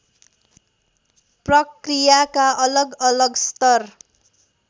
प्रक्रियाका अलगअलग स्तर